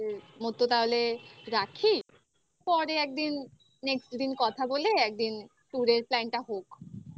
আজকের মতো তাহলে রাখি পরে একদিন next দিন কথা বলে একদিন ture র plan টা হোক